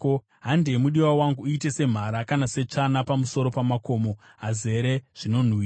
Handei mudiwa wangu, uite semhara kana setsvana pamusoro pamakomo azere zvinonhuhwira.